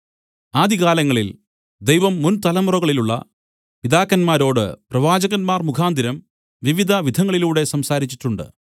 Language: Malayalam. ആദികാലങ്ങളിൽ ദൈവം മുന്‍ തലമുറകളിലുള്ള പിതാക്കന്മാരോട് പ്രവാചകന്മാർ മുഖാന്തരം വിവിധ വിധങ്ങളിലൂടെ സംസാരിച്ചിട്ടുണ്ട്